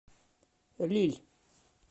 лилль